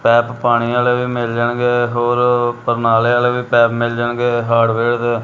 ਪੈਪ ਪਾਣੀ ਵਾਲੇ ਵੀ ਮਿਲ ਜਾਣਗੇ ਹੋਰ ਪਰਨਾਲੇ ਵਾਲੇ ਪੈਪ ਵੀ ਮਿਲ ਜਾਣਗੇ ਹਾਰਡਵੇਅਰ ਦੇ--